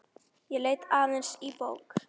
Ég leit aðeins í bók.